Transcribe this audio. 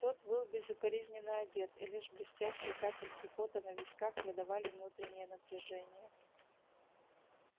тот был безукоризненно одет и лишь блестящие капельки пота на висках выдавали внутреннее напряжение